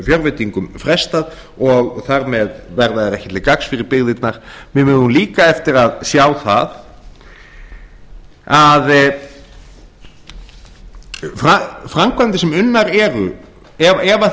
fjárveitingum frestað og þar með verða þær ekki til gagns fyrir byggðirnar við eigum líka eftir að sjá það að framkvæmdir sem unnar eru ef